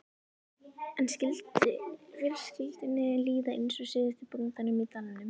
En skyldi fjölskyldunni líða eins og síðasta bóndanum í dalnum?